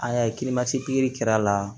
An y'a ye pikiri kɛra a la